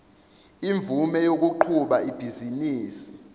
imvume yokuqhuba ibhizinisi